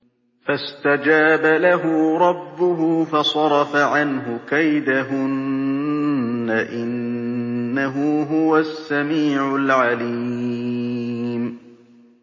فَاسْتَجَابَ لَهُ رَبُّهُ فَصَرَفَ عَنْهُ كَيْدَهُنَّ ۚ إِنَّهُ هُوَ السَّمِيعُ الْعَلِيمُ